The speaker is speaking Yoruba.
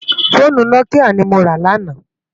Fónú Nòkiyá ni mó rá làná